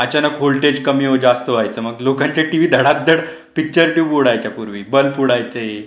अचानक वोल्टेज कमी जास्त व्हायचे मग लोकांचे टीव्ही धाधाड पिक्चर ट्यूब उडायच्या पूर्वी ब्लब उडायचे.